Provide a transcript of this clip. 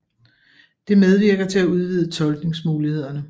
Det medvirker til at udvide tolkningsmulighederne